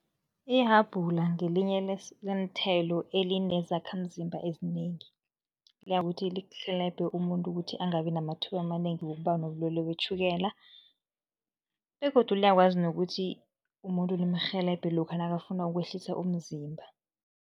Ihabhula ngelinye leenthelo elinezakhamzimba ezinengi. Liyakuthi lirhelebhe umuntu ukuthi angabi namathuba amanengi wokuba nobulwelwe betjhukela begodu liyakwazi nokuthi umuntu limrhelebhe lokha nakafuna ukwehlisa umzimba.